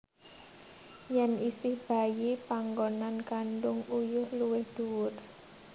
Yen isih bayi panggonan kandhung uyuh luwih dhuwur